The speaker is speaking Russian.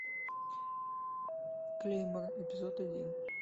клеймор эпизод один